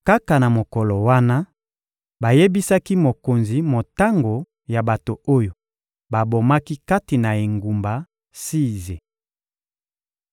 Kaka na mokolo wana, bayebisaki mokonzi motango ya bato oyo babomaki kati na engumba Size.